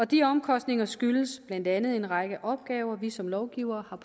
de omkostninger skyldes blandt andet en række opgaver vi som lovgivere